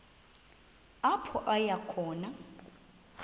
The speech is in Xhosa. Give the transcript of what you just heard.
apho aya khona